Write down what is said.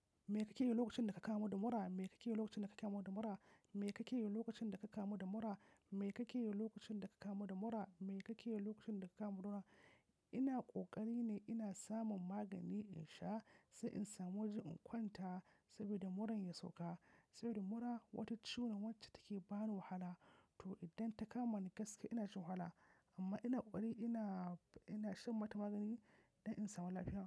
Me kake yi lokacin da ka kamu da mura? Me kake yi lokacin da ka kamu da mura? Me kake yi lokacin da ka kama da mura? Me kake yi lokacin da ka kama da mura? Me kake yi lokacin da ka kama da mura? Ina ƙoƙari ne ina samun magani insha, sai in samu waje in kwanta, saboda muran ya sauka. Saboda mura wata ciwo ce wacce take bani wahala. To idan ta kama ni gaske ina shan wahala. Amma ina ƙoƙari ina, ina shan mata magani don in samu lafiya.